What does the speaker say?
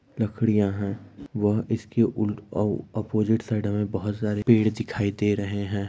लकडिया है व इसके व अ अपोजिट साइड बहुत सारे पेड़ दिखाई दे रहे है।